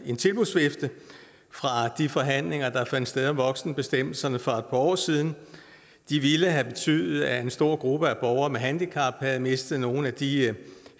en tilbudsvifte fra de forhandlinger der fandt sted om voksenbestemmelserne for et par år siden det ville have betydet at en stor gruppe af borgere med handicap havde mistet nogle af de